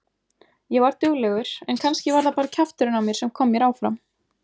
Ég var duglegur en kannski var það bara kjafturinn á mér sem kom mér áfram.